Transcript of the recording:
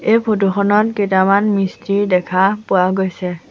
এই ফটো খনত কেতামান মিস্ত্ৰী দেখা পোৱা গৈছে।